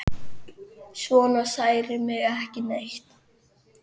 Svona særir mig ekki neitt.